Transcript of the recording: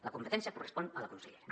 la competència correspon a la consellera